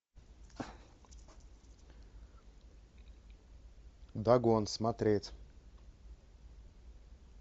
дагон смотреть